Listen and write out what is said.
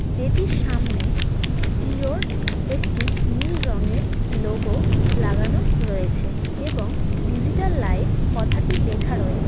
যেটির সামনে জিওর একটি নীল রঙের লোগো লাগানো রয়েছে এবং ডিজিটাল লাইফ কথাটি লেখা রয়েছে .